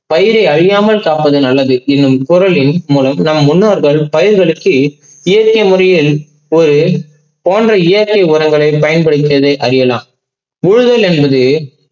பயிரை அழியாமல் காப்பது நல்லது என்னும் குரலில் நம் முன்னோர்கள் பயிர்களுக்கு இயற்கை முறையில் ஒருபோன்ற இயற்க்கை உரங்களை பயன்படுத்தியது அறியலாம். பூவியல் என்பது